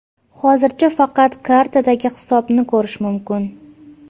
Hozircha faqat kartadagi hisobni ko‘rish mumkin.